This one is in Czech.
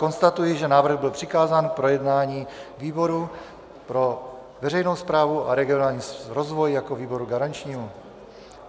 Konstatuji, že návrh byl přikázán k projednání výboru pro veřejnou správu a regionální rozvoj jako výboru garančnímu.